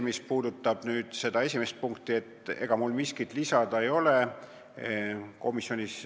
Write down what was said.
Mis puudutab seda esimest punkti, siis ega mul miskit lisada ei ole.